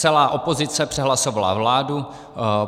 Celá opozice přehlasovala vládu.